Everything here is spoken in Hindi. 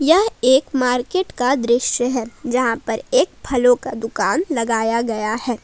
यह एक मार्केट का दृश्य है जहां पर एक फलों का दुकान लगाया गया है।